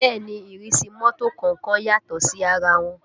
Bẹ́ẹ̀ ni ìrísí mọ́tò kọ̀ọ̀kan yàtọ̀ sí ara wọn